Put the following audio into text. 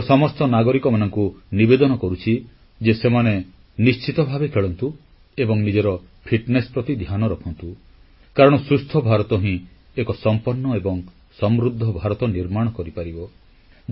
ମୁଁ ଦେଶର ସମସ୍ତ ନାଗରିକମାନଙ୍କୁ ନିବେଦନ କରୁଛି ଯେ ସେମାନେ ନିଶ୍ଚିତ ଭାବେ ଖେଳନ୍ତୁ ଏବଂ ନିଜର ଫିଟନେସ ପ୍ରତି ଧ୍ୟାନ ରଖନ୍ତୁ କାରଣ ସୁସ୍ଥ ଭାରତ ହିଁ ଏକ ପୂର୍ଣ୍ଣାଙ୍ଗ ଏବଂ ସମୃଦ୍ଧ ଭାରତ ନିର୍ମାଣ କରିପାରିବ